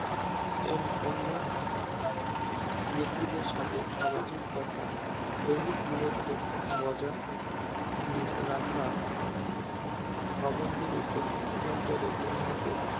এর অন্য ব্যাক্তিদের সাথে সামাজিক তথা দৈনিক দূরত্ব বজায় রাখা ভবন গুলির অভ্যন্তরে উন্নত